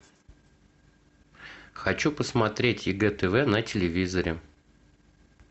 хочу посмотреть егэ тв на телевизоре